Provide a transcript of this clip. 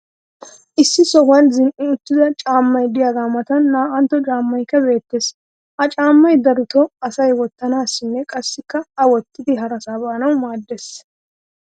issi sohuwan zin'i uttida caamay diyaagaa matan naa"antto caamaykka beettees. ha caamay darotoo asay wotanaassinne qassi a wottidi harasaa baanawu maaddees.